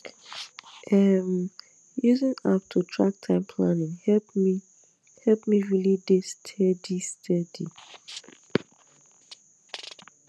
um using app to track time planning help me help me really dey steady steady